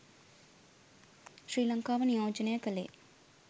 ශ්‍රී ලංකාව නියෝජනය කළේ